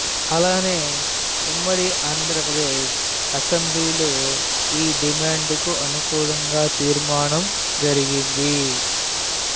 అలానే ఉమ్మడి ఆంధ్రప్రదేశ్ అసెంబ్లీలో ఈ డిమాండుకు అనుకూలంగా తీర్మానం జరిగింది